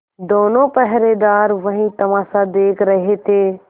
दोनों पहरेदार वही तमाशा देख रहे थे